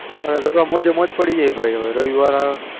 અરે મોજ મોજ પડી ગઈ ભાઈ હવે રવિ વાર અવ્યો